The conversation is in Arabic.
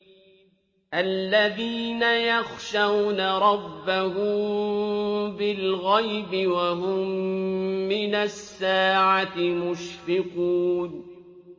الَّذِينَ يَخْشَوْنَ رَبَّهُم بِالْغَيْبِ وَهُم مِّنَ السَّاعَةِ مُشْفِقُونَ